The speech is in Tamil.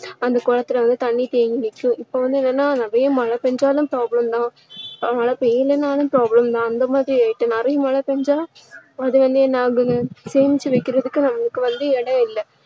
அந்த குளத்துல வந்து தண்ணீர் தேங்கி நிக்கும் இப்போ வந்து என்னன்னா நிறைய மழை பெஞ்சாலும் problem தான் மழை பெய்யலைன்னாலும் problem தான் அந்த மாதிரி ஆகிட்டு. நிறைய மழை பெஞ்சா அது வந்து என்ன ஆகும்னா சேமிச்சு வைக்கிறதுக்கு நம்மளுக்கு வந்து இடம் இல்ல